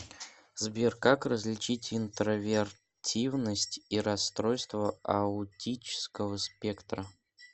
сбер как различить интровертивность и расстройство аутического спектра